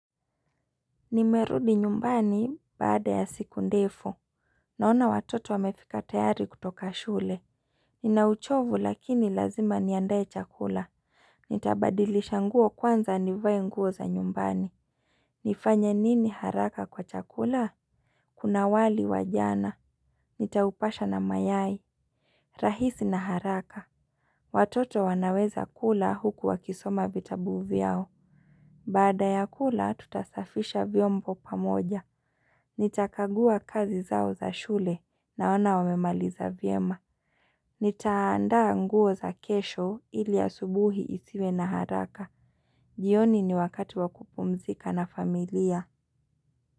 Nimerudi nyumbani baada ya siku ndefu. Naona watoto wamefika tayari kutoka shule. Nina uchovu lakini lazima niandae chakula. Nitabadilisha nguo kwanza nivae nguo za nyumbani. Nifanya nini haraka kwa chakula? Kuna wali wa jana. Nitaupasha na mayai. Rahisi na haraka. Watoto wanaweza kula huku wa kisoma vitabu vyao. Baada ya kula tutasafisha vyombo pamoja. Nitakagua kazi zao za shule naona wamemaliza vyema. Nita andaa nguo za kesho ili asubuhi isiwe na haraka. Jioni ni wakati wa kupumzika na familia.